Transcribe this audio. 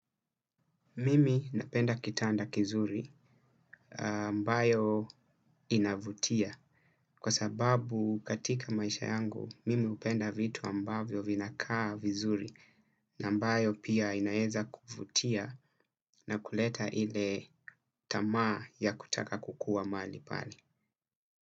Mimi napenda kitanda kizuri mbayo inavutia kwa sababu katika maisha yangu mimi hupenda vitu ambavyo vinakaa vizuri na ambayo pia inaeza kuvutia na kuleta ile tamaa ya kutaka kukuwa mahali pale.